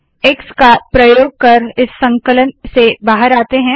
x का प्रयोग कर इस संकलन से बाहर आते है